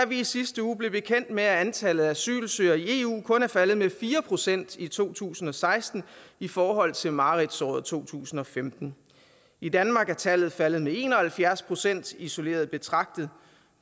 vi i sidste uge blev bekendt med at antallet af asylsøgere i eu kun er faldet med fire procent i to tusind og seksten i forhold til mareridtsåret to tusind og femten i danmark er tallet faldet med en og halvfjerds procent isoleret betragtet